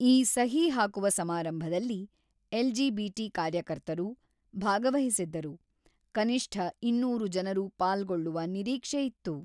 ಈ ಸಹಿ ಹಾಕುವ ಸಮಾರಂಭದಲ್ಲಿ ಎಲ್.ಜಿ.ಬಿ.ಟಿ. ಕಾರ್ಯಕರ್ತರು ಭಾಗವಹಿಸಿದ್ದರು; ಕನಿಷ್ಠ ಇನ್ನೂರು ಜನರು ಪಾಲ್ಗೊಳ್ಳುವ ನಿರೀಕ್ಷೆಯಿತ್ತು.